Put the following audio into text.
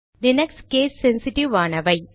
Linux case sensitive ஆனவை